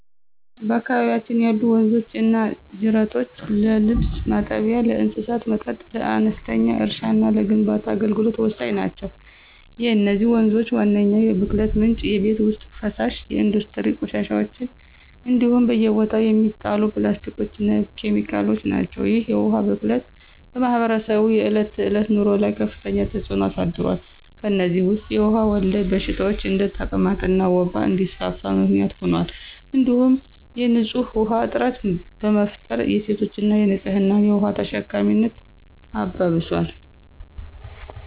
በአካባቢያችን ያሉ ወንዞችና ጅረቶች ለልብስ ማጠቢያ፣ ለእንስሳት መጠጥ፣ ለአነስተኛ እርሻና ለግንባታ አገልግሎት ወሳኝ ናቸው። የነዚህ ወንዞች ዋነኛው የብክለት ምንጭ የቤት ውስጥ ፍሳሽ፣ የኢንዱስትሪ ቆሻሻዎች እንዲሁም በየቦታው የሚጣሉ ፕላስቲኮችና ኬሚካሎች ናቸው። ይህ የውሃ ብክለት በማኅበረሰቡ የዕለት ተዕለት ኑሮ ላይ ከፍተኛ ተጽዕኖ አሳድሯል። ከእነዚህም ውስጥ የውሃ ወለድ በሽታዎች እንደ ተቅማጥና ወባ እንዲስፋፋ ምክንያት ሆኗል እንዲሁም የንፁህ ውሃ እጥረት በመፍጠር የሴቶችንና የህፃናትን የውሃ ተሸካሚነት አባብሷል።